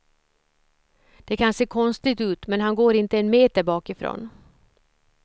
Det kan se konstigt ut men han går inte en meter bakifrån.